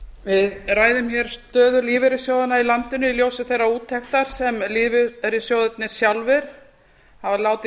við ræðum hér stöðu lífeyrissjóðanna í landinu í ljósi þeirrar úttektar sem lífeyrissjóðirnir sjálfir hafa látið